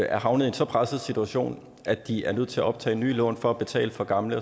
er havnet i en så presset situation at de er nødt til at optage nye lån for at betale for gamle